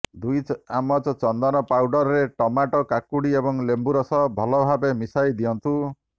ଦୁଇ ଚାମଚ ଚନ୍ଦନ ପାଉଡରରେ ଟମାଟୋ କାକୁଡି ଏବଂ ଲେମ୍ବୁରସ ଭଲଭାବେ ମିଶାଇ ଦିଅନ୍ତୁ